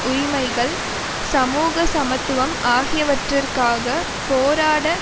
உரிமைகள் சமூக சமத்துவம் ஆகியவற்றிற்காக போராட